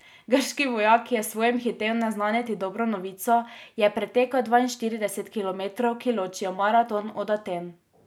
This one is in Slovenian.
Grški vojak, ki je svojim hitel naznanit dobro novico, je pretekel dvainštirideset kilometrov, ki ločijo Maraton od Aten.